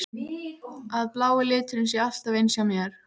Að blái liturinn sé alltaf eins hjá mér?